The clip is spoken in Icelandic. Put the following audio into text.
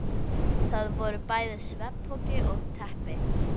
Þar voru bæði svefnpoki og teppi.